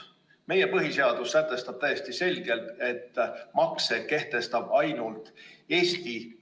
Meie põhiseadus sätestab täiesti selgelt, et makse kehtestab ainult Eesti.